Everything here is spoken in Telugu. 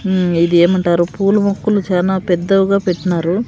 హ్మ్మ్ ఇది ఏమంటారు పూల మొక్కలు చానా పెద్దవిగా పెట్టినారు.